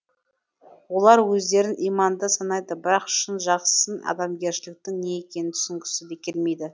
олар өздерін иманды санайды бірақ шын жақсының адамгершіліктің не екенін түсінгісі де келмейді